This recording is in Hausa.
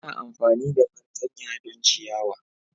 ana amfani da fartanya don ciyawa.